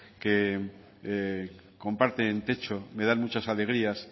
que comparten techo me dan muchas alegrías